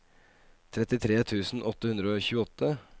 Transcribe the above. trettitre tusen åtte hundre og tjueåtte